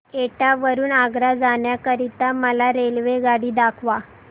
एटा वरून आग्रा जाण्या करीता मला रेल्वेगाडी दाखवा